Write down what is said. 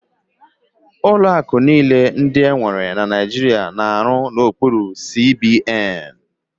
Ụlọ akụ niile ndị enwere na Naijiria na-arụ n'okpuru CBN.